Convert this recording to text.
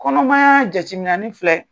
Kɔnɔmaya jateminani filɛ